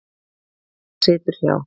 Hann situr hjá